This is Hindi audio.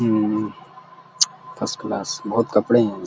हम्म्म फर्स्ट क्लास बहौत कपड़े हैं।